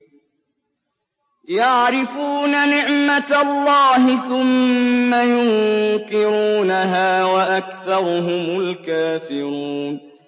يَعْرِفُونَ نِعْمَتَ اللَّهِ ثُمَّ يُنكِرُونَهَا وَأَكْثَرُهُمُ الْكَافِرُونَ